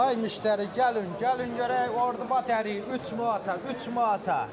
Ay müştəri gəlin, gəlin görək Ordupat əriyi üç manata, üç manata.